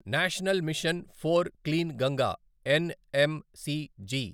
national mission for clean Ganga NMCG